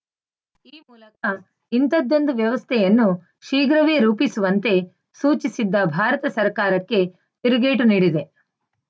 ಈ ಮೂಲಕ ಇಂಥದ್ದೊಂದು ವ್ಯವಸ್ಥೆಯನ್ನು ಶೀಘ್ರವೇ ರೂಪಿಸುವಂತೆ ಸೂಚಿಸಿದ್ದ ಭಾರತ ಸರ್ಕಾರಕ್ಕೆ ತಿರುಗೇಟು ನೀಡಿದೆ